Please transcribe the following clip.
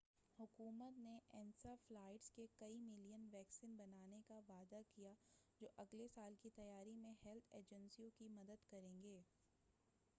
حکومت نے انسیفلائٹس کے کئی ملین ویکسن بنانے کا وعدہ کیا ہے جو اگلے سال کی تیاری میں ہیلتھ ایجنسیوں کی مدد کریں گے